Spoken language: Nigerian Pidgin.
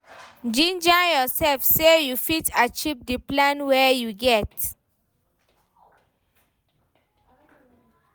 Ginger yourself sey you fit achieve di plan wey you get